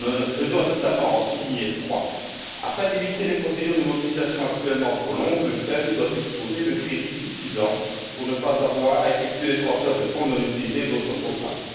Je dois notamment en souligner trois afin d'éviter les procédures de mobilisation actuellement trop longues, le FEM doit disposer de crédits suffisants pour ne pas avoir à effectuer des transferts de fonds non utilisés d'autres programmes.